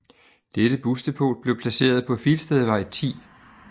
Dette busdepot blev placeret på Filstedvej 10